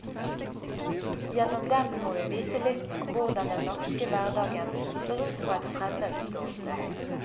Gjennom dem får vi vite litt om hvordan den norske hverdagen ser ut fra et fremmed ståsted.